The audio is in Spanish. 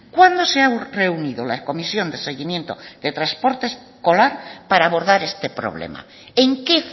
cuándo se ha reunido la comisión de seguimiento de transporte escolar para abordar este problema en qué